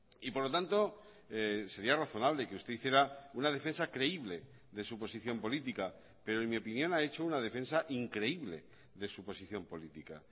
y por lo tanto sería razonable que usted hiciera una defensa creíble de su posición política pero en mi opinión ha hecho una defensa increíble de su posición política